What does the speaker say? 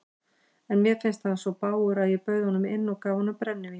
Og mér fannst hann svo bágur að ég bauð honum inn og gaf honum brennivín.